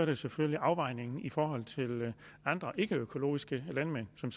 jo selvfølgelig afvejningen i forhold til andre ikkeøkologiske landmænd som